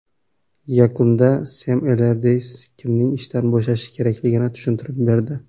Yakunda Sem Ellardays kimning ishdan bo‘shashi kerakligini tushuntirib berdi.